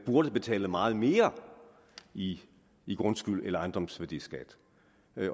burde betales meget mere i i grundskyld eller ejendomsværdiskat